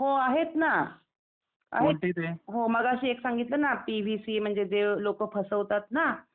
हो आहेत ना. मगाशी एक सांगितलं ना पी व्ही सी म्हणजे लोक फसवतात ना.